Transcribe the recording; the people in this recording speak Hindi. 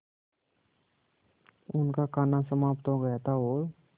उनका खाना समाप्त हो गया था और